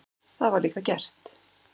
Það var líka gert.